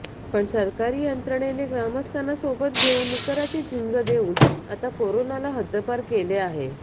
पण सरकारी यंत्रणेने ग्रामस्थांना सोबत घेऊन निकराची झुंज देऊन आता कोरोनाला हद्दपार केलेआहे